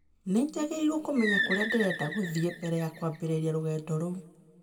Nĩ njagĩrĩirũo kũmenya kũrĩa ndĩrenda gũthiĩ mbere ya kwambĩrĩria rũgendo rũu.